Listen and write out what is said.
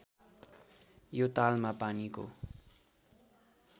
यो तालमा पानीको